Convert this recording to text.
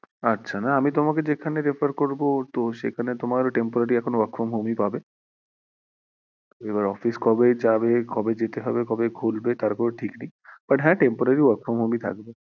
আচ্ছা না, আমি তোমাকে যেখানে refer করবো তো সেখানে তোমার temporary এখন work from home ই পাবে এবার office কবে যাবে, কবে যেতে হবে, কবে খুলবে তার কোনো ঠিক নেই but হ্যাঁ temporary work from home ই থাকবে